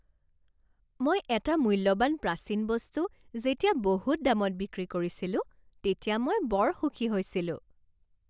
মই এটা মূল্যৱান প্ৰাচীন বস্তু যেতিয়া বহুত দামত বিক্ৰী কৰিছিলোঁ তেতিয়া মই বৰ সুখী হৈছিলোঁ।